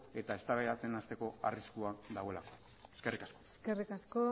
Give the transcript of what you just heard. eta eztabaidatzen hasteko arriskua dagoelako eskerrik asko eskerrik asko